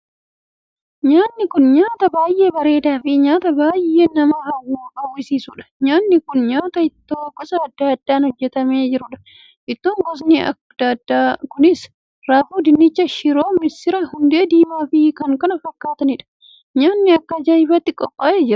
Nyaanni kun nyaataa baay'ee bareedaa fi nyaata baay'ee nama hawwisiisuudha. nyaanni kun nyaataa ittoo gosa addaa addaan hojjetame jirudha. ittoo gosni addaa addaa kunis; raafuu, dinnicha, shiroo, misira, hundee diimaa fi kan kana fakkaatuudha. nyaanni akka ajaa'ibaatti qophaa'ee jiraam!